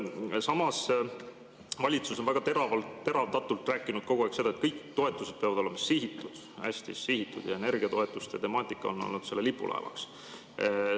Samas, valitsus on teravdatult rääkinud kogu aeg seda, et kõik toetused peavad olema sihitud, hästi sihitud, ja energiatoetuste temaatika on olnud selle lipulaevaks.